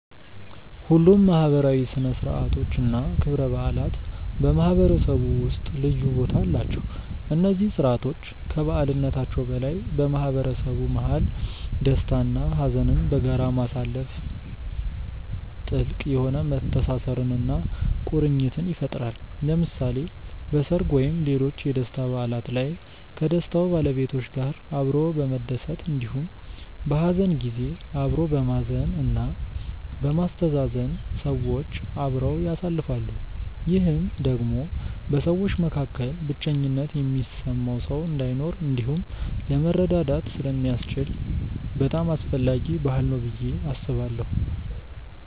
ሁሉም ማህበራዊ ሥነ ሥርዓቶች እና ክብረ በዓላት በማህበረሰቡ ውስጥ ልዩ ቦታ አላቸው። እነዚህ ስርዓቶች ከበዓልነታቸው በላይ በማህበረሰቡ መሀል ደስታ እና ሀዘንን በጋራ ማሳለፋ ጥልቅ የሆነ መተሳሰርን እና ቁርኝትን ይፈጥራል። ለምሳሌ በሰርግ ወይም ሌሎች የደስታ በዓላት ላይ ከደስታው ባለቤቶች ጋር አብሮ በመደሰት እንዲሁም በሀዘን ጊዜ አብሮ በማዘን እና በማስተዛዘን ሰዎች አብረው ያሳልፋሉ። ይህም ደግሞ በሰዎች መካከል ብቸኝነት የሚሰማው ሰው እንዳይኖር እንዲሁም ለመረዳዳት ስለሚያስችል በጣም አስፈላጊ ባህል ነው ብዬ አስባለሁ።